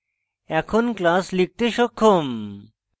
এখন class লিখতে সক্ষম